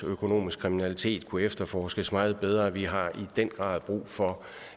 økonomisk kriminalitet i øvrigt kunne efterforskes meget bedre vi har i den grad brug for